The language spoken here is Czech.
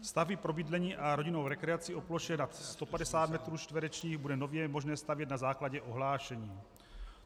Stavby pro bydlení a rodinnou rekreaci o ploše nad 150 metrů čtverečních bude nově možné stavět na základě ohlášení.